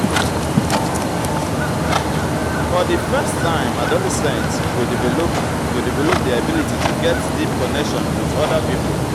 for di first time adolescent go develop go develop their ability to get deep connection with oda pipo